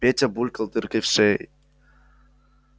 петя булькал дыркой в шее